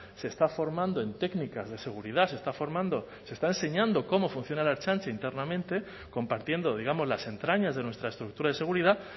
se está formando en técnicas de seguridad se está formando se está enseñando cómo funciona la ertzaintza internamente compartiendo digamos las entrañas de nuestra estructura de seguridad